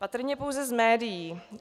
Patrně pouze z médií.